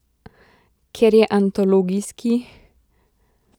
Ker je antologijski?